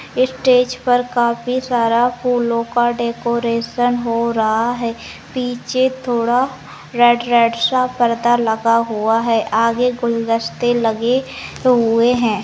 इस स्टेज पर काफी सारा फूलों का डेकोरेशन हो रहा है पीछे थोड़ा रेड रेड सब पर्दा लगा हुआ है आगे गुलदस्ते लगे हुए हैं।